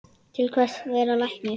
Til hvers að vera læknir?